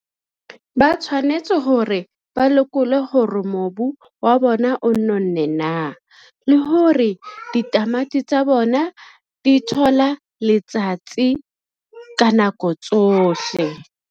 Ba tshwanetse hore ba lekole hore mobu wa bona o nonnne na, le hore ditamati tsa bona di thola letsatsi ka nako tsohle.